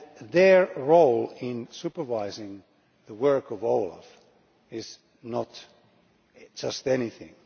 Their role in supervising the work of OLAF is not just anything